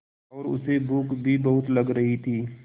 और उसे भूख भी बहुत लग रही थी